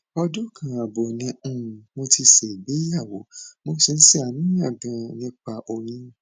ọdún kan ààbọ ni um mo ti ṣègbéyàwó mo sì ń ṣàníyàn ganan nípa oyún